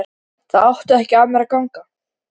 Það átti ekki af mér að ganga!